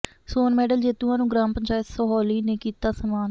ਸੋਨ medal ਜੇਤੂਆਂ ਨੂੰ ਗ੍ਰਾਮ ਪੰਚਾਇਤ ਸਹੌਲੀ ਨੇ ਕੀਤਾ ਸਨਮਾਨ